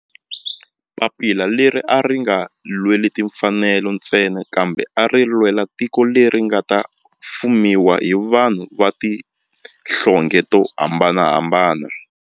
Papila leri a ri nga lweli timfanelo ntsena kambe a ri lwela tiko leri nga ta fumiwa hi vanhu va tihlonge to hambanahambana.